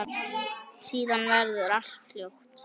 Síðan verður allt hljótt.